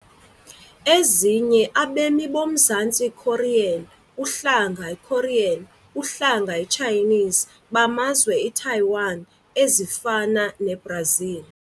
Ezinye Abemi boMzantsi Korean, uhlanga Korean, uhlanga Chinese, bamazwe Taiwan, ezifana Brazil .